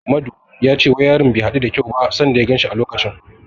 Madu ya ce wayarin din bai hadu da kyau ba sanda ya ganshi a wancen lokacin.